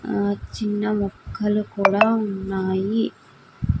ఆ చిన్న మొక్కలు కూడా ఉన్నాయి